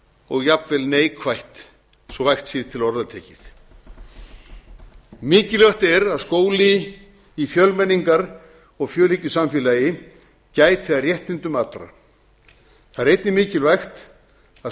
og jafnvel neikvætt svo vægt sé til orða tekið mikilvægt er að skóli í fjölmenningar og fjölhyggjusamfélagi gæti að réttindum allra það er einnig mikilvægt að